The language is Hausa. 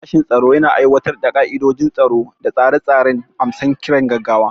Sashen tsaro yana aiwatar da ka'idojin tsaro da tsare-tsaren amsa kiran gaggawa.